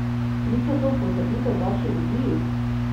Priča to v potrditev vaši viziji?